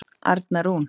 Arna Rún.